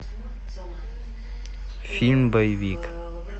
фильм боевик